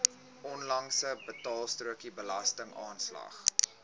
onlangse betaalstrokie belastingaanslag